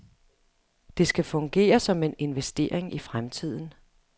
Det skal fungere som en investering i fremtiden.